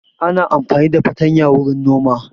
Ana amfani da fartanya wurin noma